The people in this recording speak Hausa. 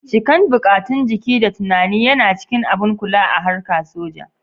Cikan buƙatun jiki da tunani yana cikin abun kula a harka soja